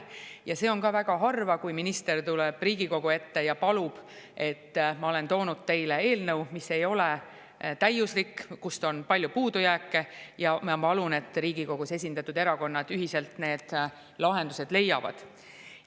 Ja seda on ka väga harva, kui minister tuleb Riigikogu ette ja, et ta on toonud eelnõu, mis ei ole täiuslik, kus on palju puudujääke, ja palub, et Riigikogus esindatud erakonnad ühiselt need lahendused leiaksid.